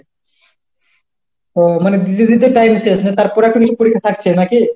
ও মানে দিতে দিতে time শেষ, মানে তারপরে একটা কিছু পরীক্ষা থাকছে নাকি?